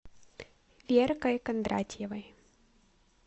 веркой кондратьевой